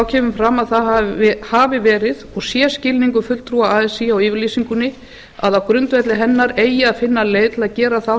kemur fram að það hafi verið og sé skilningur fulltrúa así á yfirlýsingunni að á grundvelli hennar eigi að finna leið til að gera þá